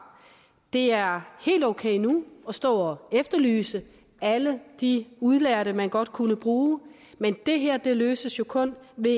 det er helt okay nu at stå og efterlyse alle de udlærte man godt kunne bruge men det her løses jo kun ved